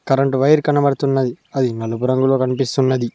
Current wire కనబడుతున్నది అది నలుపు రంగులో కనిపిస్తున్నది.